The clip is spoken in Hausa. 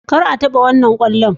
Kar a taba wannan kwallon